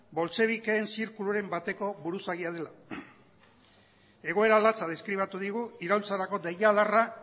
boltxebikeen zirkuluen bateko buruzagia dela egoera latza deskribatu digu iraultzarako deiadarra